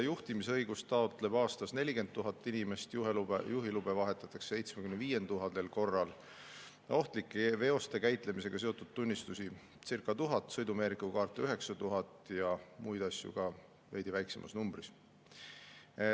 Juhtimisõigust taotleb aastas 40 000 inimest, juhiluba vahetatakse 75 000 korral, ohtlike veoste käitlemisega seotud tunnistusi anti välja circa 1000, sõidumeeriku kaarte 9000 ja muid asju veidi väiksemal arvul.